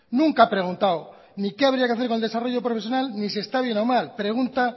nunca ha preguntado ni qué habría que hacer con el desarrollo profesional ni si está bien o mal pregunta